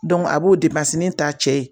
a b'o ta cɛ ye